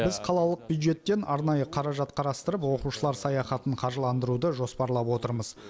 біз қалалық бюджеттен арнайы қаражат қарастырып оқушылар саяхатын қаржыландыруды жоспарлап отырмыз